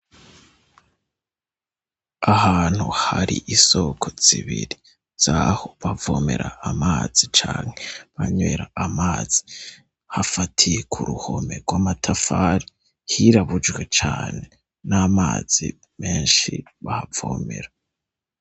Ahantu harisoko zibiri zaho abomera amazi canke banywera amazi afatiye kuruhome rwamatafari hirabujwe cane namazi menshi cane bahavomera.